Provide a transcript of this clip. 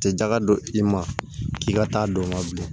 Tɛ jaga don i ma k'i ka taa don o la bilen